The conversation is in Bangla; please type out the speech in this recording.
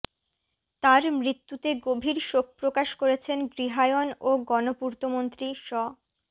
তার মৃত্যুতে গভীর শোক প্রকাশ করেছেন গৃহায়ণ ও গণপূর্তমন্ত্রী শ